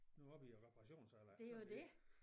Nu har vi æ reparationsalder ikke sådan er det